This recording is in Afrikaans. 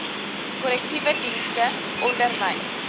korrektiewe dienste onderwys